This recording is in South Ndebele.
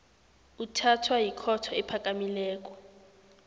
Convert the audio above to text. uthathwa yikhotho ephakamileko